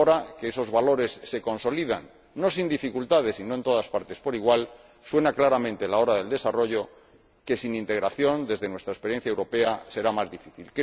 Ahora que esos valores se consolidan, no sin dificultades y no en todas partes por igual, suena claramente la hora del desarrollo que, sin integración, desde nuestra experiencia europea, será más difícil.